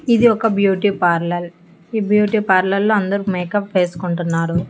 ఇది ఒక బ్యూటీపార్లల్ ఈ బ్యూటీపార్లర్లో అందరూ మేకప్ వేసుకుంటున్నారు.